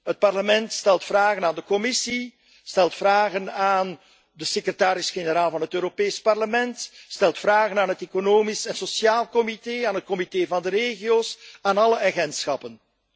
Het Parlement stelt vragen aan de Commissie, stelt vragen aan de secretaris generaal van het Europees Parlement, stelt vragen aan het Economisch en Sociaal Comité, aan het Comité van de Regio's, aan alle agentschappen.